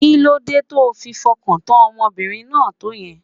Kí ló dé to fi fọkàntán ọmọbìnrin náà tó yẹn?